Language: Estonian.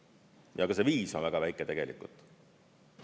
Ja ka see viis on väga väike tegelikult.